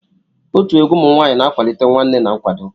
Otu egwu ụmụ nwaanyịna-akwalite nwanne na nkwado.